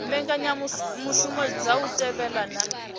mbekanyamushumo dza u thivhela na